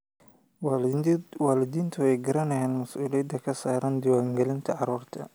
Waalidiintu way garanayaan mas'uuliyadda ka saaran diiwaangelinta carruurta.